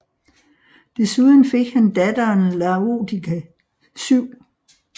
Desuden fik han datteren Laodike 7